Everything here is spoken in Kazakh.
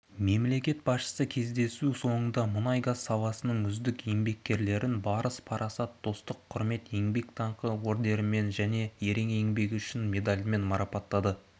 мемлекет басшысы кездесу соңында мұнай-газ саласының үздік еңбеккерлерін барыс парасат достық құрмет еңбек даңқы ордендерімен және ерен еңбегі үшін медалімен марапаттады